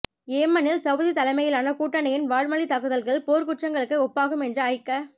யேமனில் Saudi தலைமையிலான கூட்டணியின் வான்வழித் தாக்குதல்கள் போர்க்குற்றங்களுக்கு ஒப்பாகும் என்ற ஐக்க